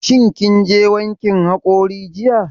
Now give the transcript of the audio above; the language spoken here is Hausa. Shin kin je wankin haƙori jiya?